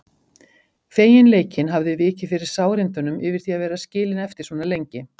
Feginleikinn hafði vikið fyrir sárindunum yfir því að vera skilin eftir svona lengi.